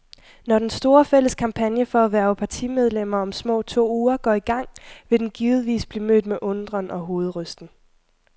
Når den store, fælles kampagne for at hverve partimedlemmer om små to uger går i gang, vil den givetvis blive mødt med undren og hovedrysten.